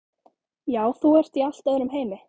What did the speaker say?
Já, þú ert í allt öðrum heimi.